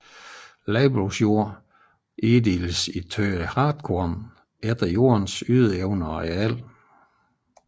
Landbrugsjorden inddeles i tønder hartkorn efter jordens ydeevne og areal